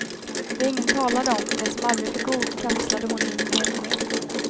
Det ingen talade om, det som aldrig fick ord kapslade hon in mer och mer.